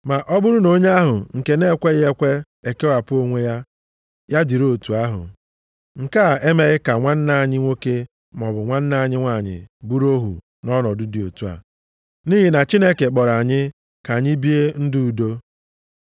Ma ọ bụrụ na onye ahụ nke na-ekweghị ekwe ekewapụ onwe ya, ya dịrị otu ahụ, nke a emeghị ka nwanna anyị nwoke maọbụ nwanna anyị nwanyị bụrụ ohu nʼọnọdụ dị otu a, nʼihi na Chineke kpọrọ anyị ka anyị bie ndụ udo.